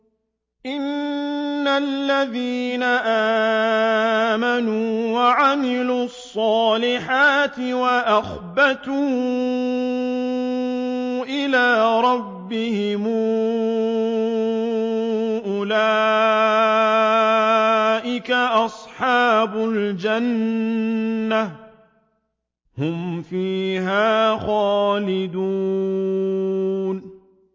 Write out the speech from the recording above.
إِنَّ الَّذِينَ آمَنُوا وَعَمِلُوا الصَّالِحَاتِ وَأَخْبَتُوا إِلَىٰ رَبِّهِمْ أُولَٰئِكَ أَصْحَابُ الْجَنَّةِ ۖ هُمْ فِيهَا خَالِدُونَ